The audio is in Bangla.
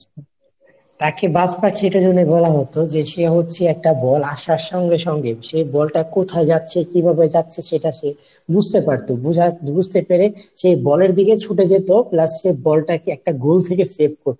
তাকে বাজপাখি এটার জন্য বলা হতো যে সে হচ্ছে একটা বল আসার সঙ্গে সঙ্গে সেই বলটা কোথায় যাচ্ছে কিভাবে যাচ্ছে সেটা সে বুঝতে পারতো। বুঝার বুঝতে পেরে সেই বলের দিকে ছুটে যেত plus সে বলটাকে একটা গোল থেকে save করতো.